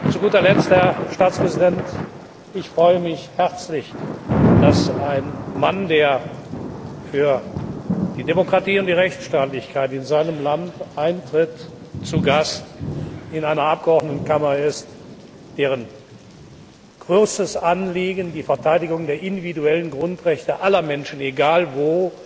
Zu guter Letzt, Herr Staatspräsident Ich freue mich herzlich, dass ein Mann, der für die Demokratie und die Rechtsstaatlichkeit in seinem Land eintritt, zu Gast in einer Abgeordnetenkammer ist, deren großes Anliegen die Verteidigung der individuellen Grundrechte aller Menschen, egal